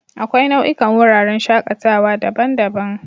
Akwai nau'ikan wuraren shakatawa daban-daban.